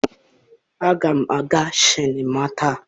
aga m aga sinima taa.